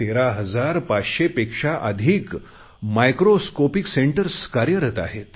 13 हजार 500 पेक्षा अधिक मायक्रोस्कोपिक सेंटर्स कार्यरत आहेत